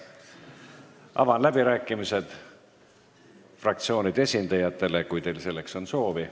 Avan läbirääkimised fraktsioonide esindajatele, kui kellelgi on selleks soovi.